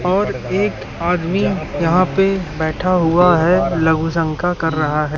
और एक आदमी यहां पे बैठा हुआ है लघु शंका कर रहा है।